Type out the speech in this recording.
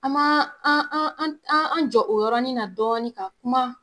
An ma an an an jɔ o yɔrɔnin na dɔɔni ka kuma.